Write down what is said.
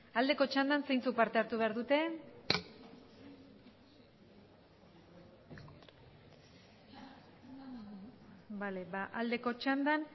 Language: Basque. aldeko txandan zeintzuk parte hartu behar dute aldeko txandan